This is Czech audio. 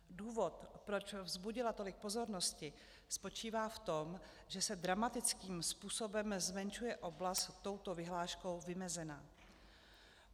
Důvod, proč vzbudila tolik pozornosti, spočívá v tom, že se dramatickým způsobem zmenšuje oblast touto vyhláškou vymezená.